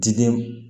Diden